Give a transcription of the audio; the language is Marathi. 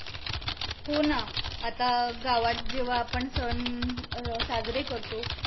हो ना आता गावात जेव्हा आपण सन अं साजरे करतो